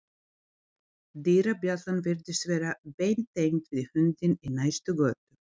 Dyrabjallan virðist vera beintengd við hundinn í næstu götu.